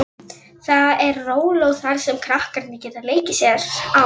Fyrir ofan hniprar Keilir sig saman eins og óraunveruleg furðuskepna.